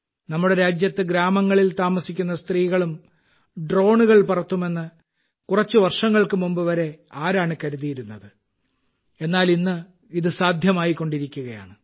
നമ്മുടെ രാജ്യത്ത് ഗ്രാമങ്ങളിൽ താമസിക്കുന്ന സ്ത്രീകളും ഡ്രോണുകൾ പറത്തുമെന്ന് കുറച്ച് വർഷങ്ങൾക്ക് മുമ്പ് വരെ ആരാണ് കരുതിയിരുന്നത് എന്നാൽ ഇന്ന് ഇത് സാധ്യമായിക്കൊണ്ടിരിക്കുകയാണ്